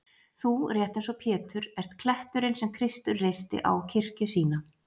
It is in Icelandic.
Þú, rétt eins og Pétur,-ert kletturinn sem Kristur reisti á kirkju sína.